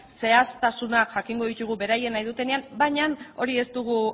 zehaztasunak jakingo ditugu beraiek nahi dutenean baina hori ez dugu